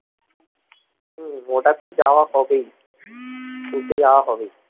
হম ওটাতো যাওয়া হবেই ঘুরতে যাওয়া হবেই